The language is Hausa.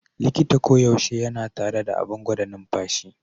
Likita koyaushe yana tare da abin gwada numfashi.